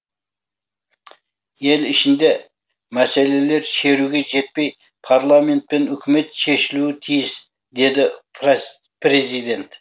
ел ішіндегі мәселелер шеруге жетпей парламент пен үкімет шешілуі тиіс деді президент